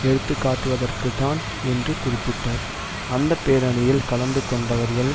எடுத்துக்காட்டுவதற்குத்தான் என்று குறிப்பிட்டார் அந்த பேரணியில் கலந்து கொண்டவர்கள்